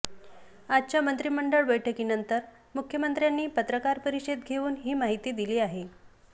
आजच्या मंत्रीमंडळ बैठकीनंतर मुख्यमंत्र्यांनी पत्रकार परिषद घेऊन ही माहिती दिली आहे